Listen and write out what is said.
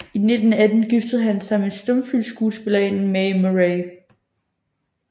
I 1918 giftede han sig med stumfilmsskuespillerinden Mae Murray